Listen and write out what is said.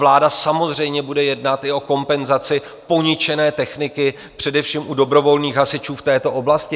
Vláda samozřejmě bude jednat i o kompenzaci poničené techniky, především u dobrovolných hasičů v této oblasti.